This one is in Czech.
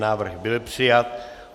Návrh byl přijat.